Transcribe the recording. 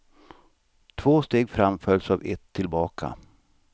Två steg fram följs av ett tillbaka.